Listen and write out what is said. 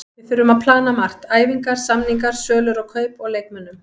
Við þurfum að plana margt, æfingar, samningar, sölur og kaup á leikmönnum.